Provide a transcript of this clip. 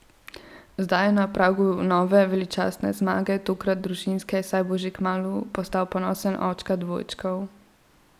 Zdaj je na pragu nove veličastne zmage, tokrat družinske, saj bo že kmalu postal ponosen očka dvojčkov.